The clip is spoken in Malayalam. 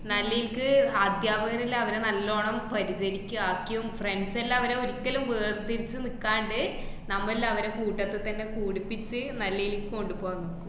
നല്ല്ക്ക് അദ്ധ്യാപരാകരല്ലേ അവര് നല്ലോണം പരിചരിക്കാക്കിയും friends എല്ലാം അവരെ ഒരിക്കലും വേര് പിരിച്ച് നിക്കാണ്ട് നമ്മലിലവരെ കൂട്ടത്തിത്തന്നെ കൂടിപ്പിച്ച് നല്ലീതിക്ക് കൊണ്ടുപോകാന്‍ നോക്കും.